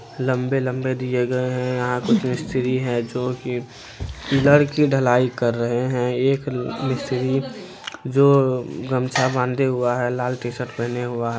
लम्बे-लम्बे दिए गए है| यहाँ कुछ मिस्त्री है जो कि पिलर की ढलाई कर रहे हैं एक मिस्त्री जो गमछा बांधे हुआ है लाल टी-शर्ट पहने हुआ ह--